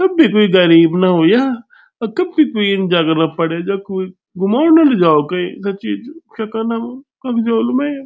कभी कुई गरीब न हुयां और कभी कुई इन जगह न पड़े जाओ कुई घूमोण न लिजाओ कईं सच्ची क्य कण अब कख जोल में।